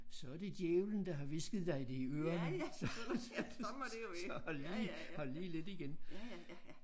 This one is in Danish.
Så er det djævlen der har hvisket dig det i ørerne så hold lige hold lige lidt igen